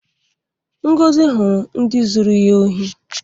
Ngozi hụrụ ndị zuru ya ohi.